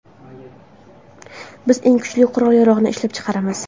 Biz eng kuchli qurol-yarog‘ni ishlab chiqaramiz.